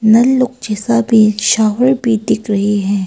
नल लोग जैसा भी शावर भी दिख रहे हैं।